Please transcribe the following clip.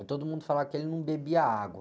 E todo mundo falava que ele não bebia água.